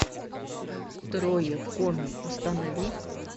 трое в коме установи